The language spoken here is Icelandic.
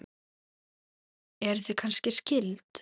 Eruð þið kannski skyld?